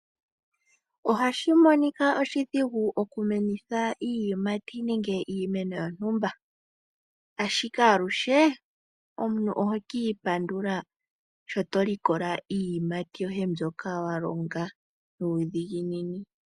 Ohashi monika oshidhigu oku menitha iiyimati nenge iimeno yontumba ashike aluhe omuntu oho kiipandula sho to likola iiyimati yoye mbyoka wa longa nuudhigini.